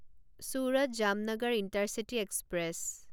Surat Jamnagar intercity express